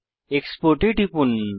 export এ টিপুন